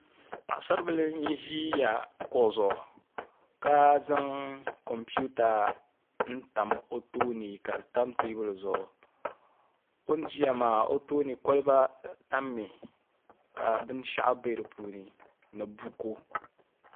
Paɣasaribili n ʒi kuɣu zuɣu ka zaŋ kompiuta n tam o tooni ka di tam teebuli zuɣu o ni ʒiya maa o tooni kolba tammi ka binshaɣu bɛ di puuni ni buku